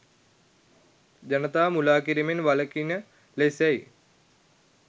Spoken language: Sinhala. ජනතාව මුළා කිරිමෙන් වළකින ලෙසයි